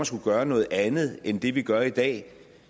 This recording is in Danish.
skulle gøre noget andet end det vi gør i dag